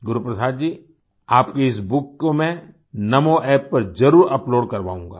गुरुप्रसाद जी आपकी इस बुक को मैं NamoApp पर जरुर अपलोड करवाऊंगा